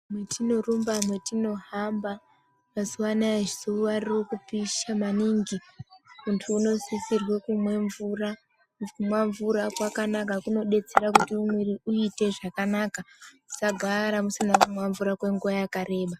Mwetinorumba mwetinohamba , mazuwa anaya zuwa riri kupisha maningi .Muntu unosisirwe kumwe mvura. Kumwa mvura kwakanaka, kunodetsera kuti mwiiri uite z akanaka. Musagara mishina kumwa mvura kwenguwa yakareba.